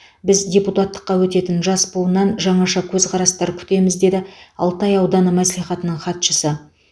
біз депутаттыққа өтетін жас буыннан жаңаша көзқарастар күтеміз деді алтай ауданы мәслихатының хатшысы